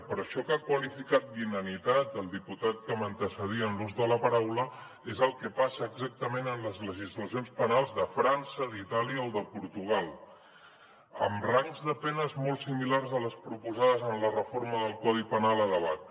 però això que ha qualificat d’ inanitat el diputat que m’antecedia en l’ús de la paraula és el que passa exactament en les legislacions penals de frança d’itàlia o de portugal amb rangs de penes molt similars a les proposades en la reforma del codi penal a debat